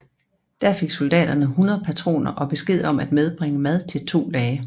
Der fik soldaterne 100 patroner og besked om at medbringe mad til to dage